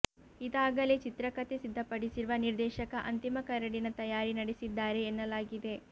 ಇದಾಗಲೇ ಚಿತ್ರಕಥೆ ಸಿದ್ದಪಡಿಸಿರುವ ನಿರ್ದೇಶಕ ಅಂತಿಮ ಕರಡಿನ ತಯಾರಿ ನಡೆಸಿದ್ದಾರೆ ಎನ್ನಲಾಗಿದೆ